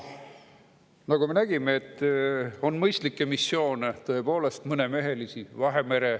Nagu me nägime, on mõistlikke missioone, tõepoolest, mõnemehelisi.